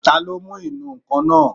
Taló mú ìnù-ǹkan náà?